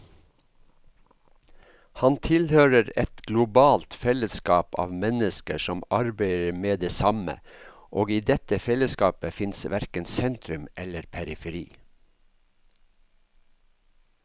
Han tilhører et globalt fellesskap av mennesker som arbeider med det samme, og i dette fellesskapet fins verken sentrum eller periferi.